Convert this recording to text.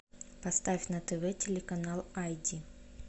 поставь на тв телеканал ай ди